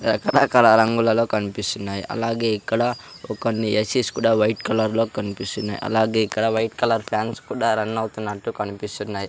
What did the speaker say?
రకరకాల రంగులలో కనిపిస్తున్నాయి అలాగే ఇక్కడ ఒక కొన్ని ఎసిస్ కూడా వైట్ కలర్ లో కనిపిస్తున్నాయి అలాగే ఇక్కడ వైట్ కలర్ ఫ్యాన్స్ కూడా రన్ అవుతున్నట్టు కనిపిస్తున్నాయి.